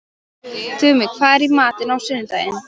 Tumi, hvað er í matinn á sunnudaginn?